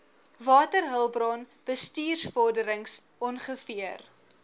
waterhulpbron bestuursvorderings ongeveer